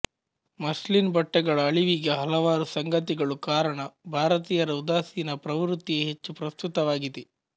muslin ಬಟ್ಟೆಗಳ ಅಳಿವಿಗೆ ಹಲವಾರು ಸಂಗತಿಗಳು ಕಾರಣ ಭಾರತೀಯರ ಉದಾಸೀನ ಪ್ರವೃತ್ತಿಯೇ ಹೆಚ್ಚು ಪ್ರಸ್ತುತವಾಗಿದೆ